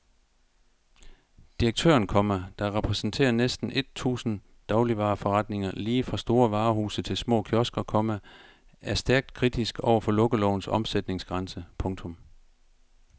Direktøren, komma der repræsenterer næsten et tusind dagligvareforretninger lige fra store varehuse til små kiosker, komma er stærkt kritisk over for lukkelovens omsætningsgrænse. punktum